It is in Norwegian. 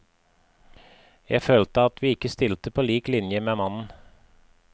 Jeg følte at vi ikke stilte på lik linje med mannen.